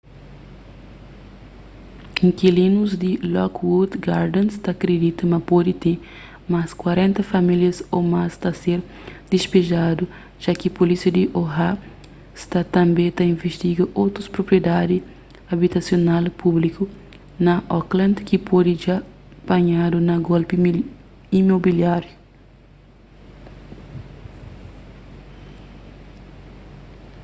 inkilinus di lockwood gardens ta kridita ma pode ten más 40 famílias ô más ta ser dispejadu ja ki pulísia di oha sta tanbê ta invistiga otus propriedadi abitasional públiku na oakland ki pode dja panhadu na golpi imobiláriu